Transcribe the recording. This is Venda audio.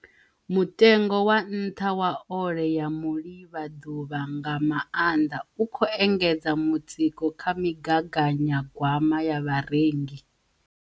Mutengo wa nṱha wa ole ya mulivhaḓuvha, nga maanḓa, u khou engedza mutsiko kha migaganyagwama ya vharengi.